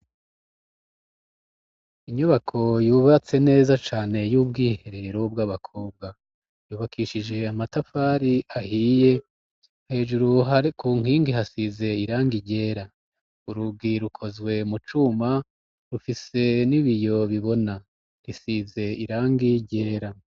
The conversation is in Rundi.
Inyubako yubatse neza cane y'ubwiherero bw'abakobwa. Yubakishije amatafari ahiye hejuru hari ku nkingi hasize irangi ryera. Urugi rukozwe mu cuma rufise n'ibiyo bibona, rusize irangi ryera.